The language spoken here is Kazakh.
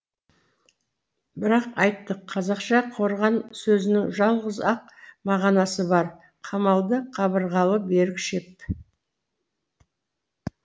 бірақ айттық қазақша қорған сөзінің жалғыз ақ мағынасы бар қамалды қабырғалы берік шеп